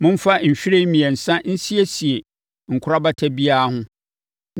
Momfa nhwiren mmiɛnsa nsiesie nkorabata biara ho.